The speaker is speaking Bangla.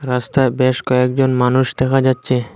রাস্তায় বেশ কয়েকজন মানুষ দেখা যাচ্ছে।